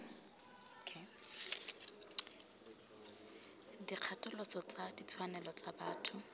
dikgatholoso tsa ditshwanelo tsa botho